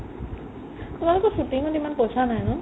তোমালোকৰ shooting ত ইমান পইচা নাই ন ?